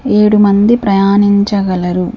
ఏడు మంది ప్రయాణించగలరు.